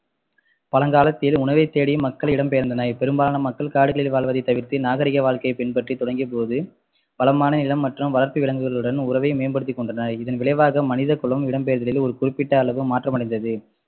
பழங்காலத்தில் உணவைத்தேடி மக்கள் இடம்பெயர்ந்தனர் பெரும்பாலான மக்கள் காடுகளில் வாழ்வதை தவிர்த்து நாகரிக வாழ்க்கையை பின்பற்றி தொடங்கியபோது பலமான மற்றும் வளர்ப்பு விலங்குகளுடன் உறவை மேம்படுத்திக்கொண்டனர் இதன் விளைவாக மனிதகுலம் இடம்பெயர்தலில் ஒரு குறிப்பிட்ட அளவு மாற்றம் அடைந்தது